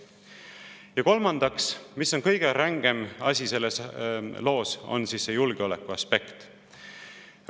Ja kolmandaks, mis on kõige rängem selles loos: see on julgeoleku aspekt.